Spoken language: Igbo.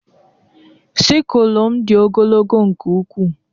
Sicklelu m dị ogologo nke ukwuu